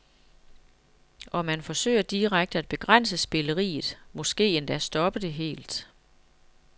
Og man forsøger direkte at begrænse spilleriet, måske endda stoppe det helt.